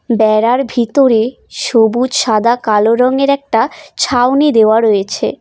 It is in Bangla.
ব্যাড়ার ভিতরে সবুজ সাদা কালো রঙের একটা ছাউনি দেওয়া রয়েছে।